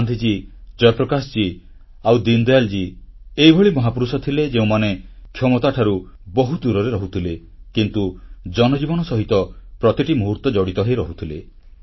ଗାନ୍ଧିଜୀ ଜୟପ୍ରକାଶ ଜୀ ଆଉ ଦୀନଦୟାଲ ଜୀ ଏଭଳି ମହାପୁରୁଷ ଥିଲେ ଯେଉଁମାନେ କ୍ଷମତାଠାରୁ ବହୁ ଦୂରରେ ରହୁଥିଲେ କିନ୍ତୁ ଜନଜୀବନ ସହିତ ପ୍ରତିଟି ମୁହୂର୍ତ୍ତ ଜଡ଼ିତ ରହୁଥିଲେ